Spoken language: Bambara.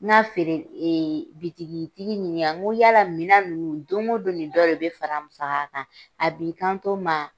N'a feere ee bitigitigi ɲinika n ko yala minan nunnu don go don de dɔ de be fara a musaka kan? A b'i kanto n ma